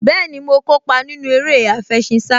Bẹ́ẹ̀ni, mo kópa nínú eré àfẹṣinsá